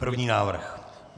První návrh.